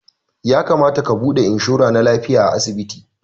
Ya kamata ka buɗe inshora na lafiya a asibiti